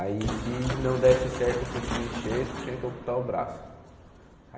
Aí se não desse certo esse último enxerto, tinha que amputar o braço.